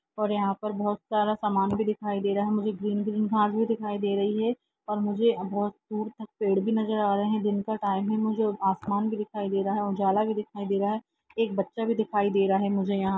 और यहा पर बहुत सारा समान भी दिखाई दे रहा है मुझे ग्रीन ग्रीन घास भी दिखाई दे रही है और मुझे बहुत दूर तक पेड़ भी नजर आ रहे है दिन का टाईम है मुझे आसमान भी दिखाई दे रहा है उजाला भी दिखाई दे रहा है एक बच्चा भी दिखाई दे रहा है मुझे यहा--